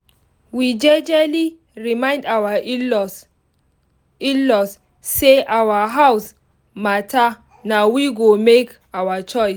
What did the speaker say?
we jejely remind our in-laws our in-laws say for our house matter na we go make our choice